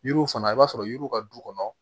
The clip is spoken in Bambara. Yiriw fana i b'a sɔrɔ yiriw ka du kɔnɔ